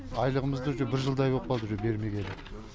айлығымызды уже бір жылдай боп қалды уже бермегелі